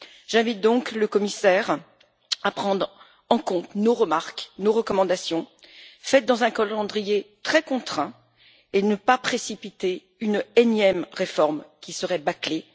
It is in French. J'invite donc le commissaire à prendre en compte nos remarques et nos recommandations, faites dans un calendrier très contraint, et ne pas précipiter une énième réforme qui serait bâclée.